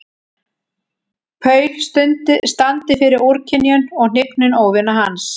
Paul standi fyrir úrkynjun og hnignun óvina hans.